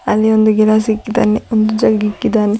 ಅಲ್ಲಿ ಒಂದು ಗಿಲಾಸ್ ಇಕ್ಕಿದ್ದಾನೆ ಒಂದು ಜಗ್ಗ್ ಇಕ್ಕಿದ್ದಾನೆ.